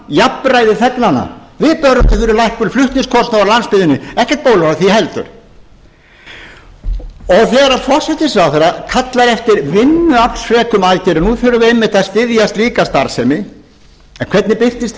jafnræði þegnanna við börðumst fyrir lækkun flutningskostnaðar á landsbyggðinni ekkert bólar á því heldur þegar að forsætisráðherra kallar eftir vinnuaflsfrekum aðgerðum nú þurfum við einmitt að styðja slíka starfsemi en hvernig birtist